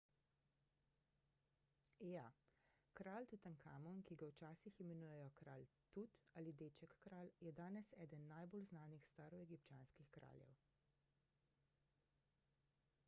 ja kralj tutankamon ki ga včasih imenujejo kralj tut ali deček kralj je danes eden najbolj znanih staroegipčanskih kraljev